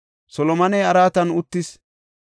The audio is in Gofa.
Solomoney araatan uttis.